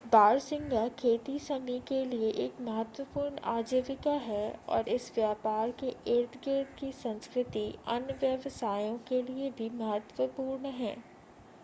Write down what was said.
बारहसिंगा खेती समी के लिए एक महत्वपूर्ण आजीविका है और इस व्यापार के इर्दगिर्द की संस्कृति अन्य व्यवसायों के लिए भी महत्वपूर्ण है